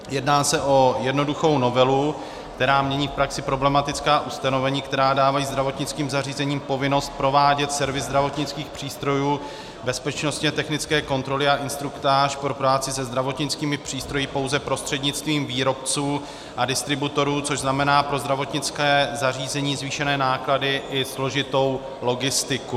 Jedná se o jednoduchou novelu, která mění v praxi problematická ustanovení, která dávají zdravotnickým zařízením povinnost provádět servis zdravotnických přístrojů, bezpečnostně technické kontroly a instruktáž pro práci se zdravotnickými přístroji pouze prostřednictvím výrobců a distributorů, což znamená pro zdravotnické zařízení zvýšené náklady i složitou logistiku.